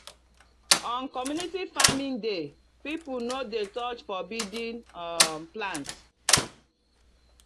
on community farming day people no dey touch forbidden um plants.